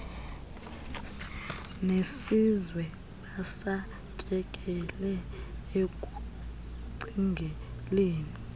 nesizwe basatyekele ekucingeleni